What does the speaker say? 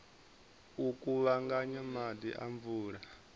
u kuvhanganya maḓi a mvula